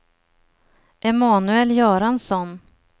Emanuel Göransson